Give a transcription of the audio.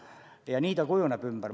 Ja nii kujuneb töö ümber.